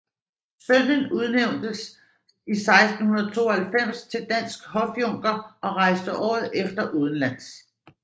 Sønnen udnævntes 1692 til dansk hofjunker og rejste året efter udenlands